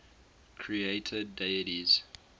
creator deities